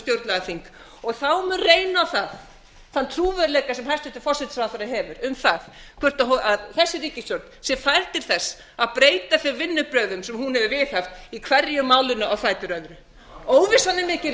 stjórnlagaþing og þá mun reyna á það þann trúverðugleika sem hæstvirtur forsætisráðherra hefur um það hvort þessi ríkisstjórn sé fær til þess að breyta þeim vinnubrögðum sem hún hefur viðhaft í hverju málinu á fætur öðru óvissan er mikil á